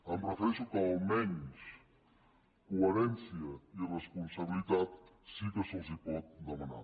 em refereixo que almenys coherència i responsabilitat sí que se’ls pot demanar